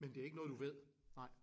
Men det er ikke noget du ved? Nej